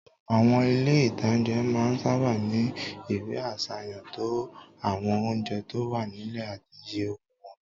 Àwọn ilé-ìtánjẹ máa n sáábà ní ìwé àsàyàn tó to àwọn oúnjẹ tó wà nílẹ̀ àti iye owó wọn